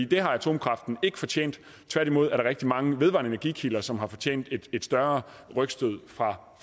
det har atomkraften ikke fortjent tværtimod er der rigtig mange vedvarende energikilder som har fortjent et større rygstød fra